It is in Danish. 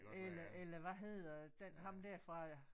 Eller eller hvad hedder den ham der fra